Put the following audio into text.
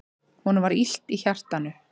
Honum var illt í hjartanu.